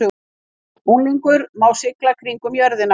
Unglingur má sigla kringum jörðina